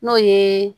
N'o ye